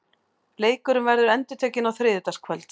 Leikurinn verður endurtekinn á þriðjudagskvöld.